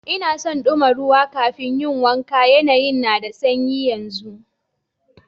N'na son duma ruwa kafin n'yi wanka, yanayin na da sanyi yanzu.